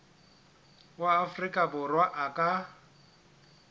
wa afrika borwa a ka